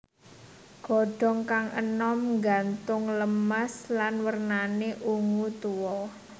Godhong kang enom nggantung lemas lan wernane ungu tua